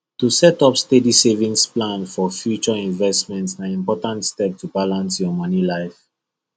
to set up steady savings plan for future investment na important step to balance your money life